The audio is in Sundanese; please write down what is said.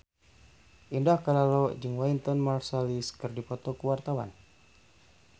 Indah Kalalo jeung Wynton Marsalis keur dipoto ku wartawan